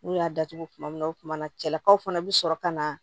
N'u y'a datugu kuma min na o tumana cɛlakaw fana bi sɔrɔ ka na